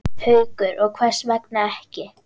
Haukur: Og hvers vegna ekki?